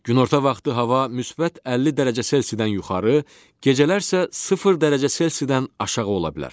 Günorta vaxtı hava müsbət 50 dərəcə Selsidən yuxarı, gecələr isə sıfır dərəcə Selsidən aşağı ola bilər.